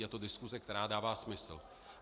Je to diskuse, která dává smysl.